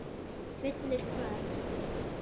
Fullir hvað.!?